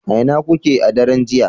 a ina kuke a daren jiya